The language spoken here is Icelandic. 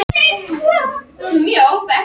Þegar nóg er af æti eru meiri líkur á stóru goti.